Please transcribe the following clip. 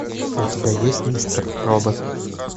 у тебя есть мистер робот